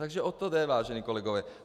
Takže o to jde, vážení kolegové.